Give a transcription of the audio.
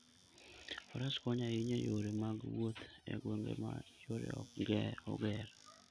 Faras konyo ahinya e yore mag wuoth e gwenge ma yore ok oger.